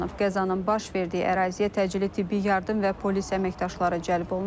Qəzanın baş verdiyi əraziyə təcili tibbi yardım və polis əməkdaşları cəlb olunub.